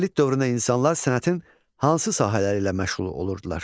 Neolit dövründə insanlar sənətin hansı sahələri ilə məşğul olurdular?